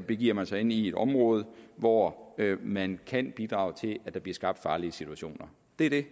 begiver man sig ind i et område hvor man kan bidrage til at der bliver skabt farlige situationer det er det